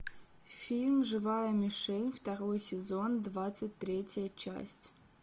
фильм живая мишень второй сезон двадцать третья часть